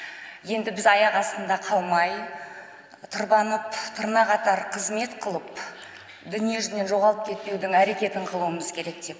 енді біз аяқ астында қалмай тырбанып тырна қатар қызмет қылып дүниежүзінен жоғалып кетпеудің әрекетін қылуымыз керек деп